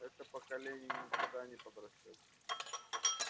это поколение никогда не подрастёт